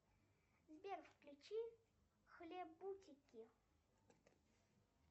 сбер включи хлебутики